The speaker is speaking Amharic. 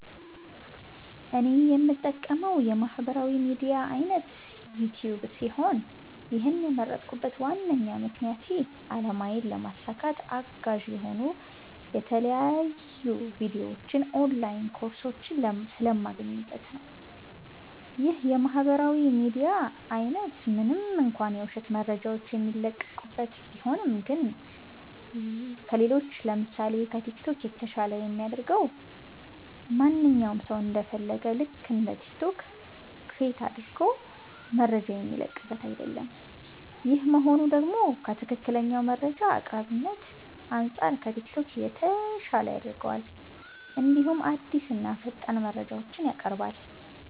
እኔ የምጠቀመዉ የማህበራዊ ሚድያ አይነት ዩቲዩብ ሲሆን ይህን የመረጥኩበት ዋነኛ ምክንያቴ አላማዬን ለማሳካት አጋዥ የሆኑ የተለያዩ ቪዲዮዎች ኦንላይን ኮርሶች ስለማገኝበት ነዉ። ይህ የማህበራዊ ሚዲያ አይነት ምንም እንኳ የዉሸት መረጃዎች የሚለቀቅበት ቢሆንም ግን ከሌሎች ለምሳሴ፦ ከቲክቶክ የተሻለ የሚያደርገዉ ማንኛዉም ሰዉ እንደ ፈለገዉ ልክ እንደ ቲክቶክ ክሬት አድርጎ መረጃ የሚለቅበት አይደለም ይሄ መሆኑ ደግሞ ከትክክለኛ መረጃ አቅራቢነት አንፃር ከቲክቶክ የተሻለ ያደርገዋል እንዲሁም አዲስና ፈጣን መረጃዎችንም ያቀርባል።